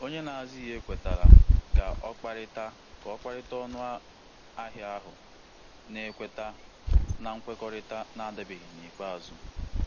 Onye na-ahụ maka ụlọ ahụ kwetara um ijiri pasentị abụọ na ọkara belata na ọkara belata ụgwọ ọrụ kọmishọn maka um iji mechie um nkwekọrịta ahụ.